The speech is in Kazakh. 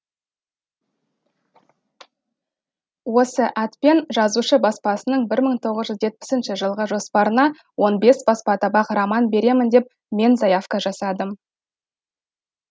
осы атпен жазушы баспасының бір тоғыз жүз жетпіс жылғы жоспарына он бес баспа табақ роман беремін деп мен заявка жасадым